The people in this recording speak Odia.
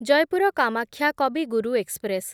ଜୟପୁର କାମାକ୍ଷା କବି ଗୁରୁ ଏକ୍ସପ୍ରେସ୍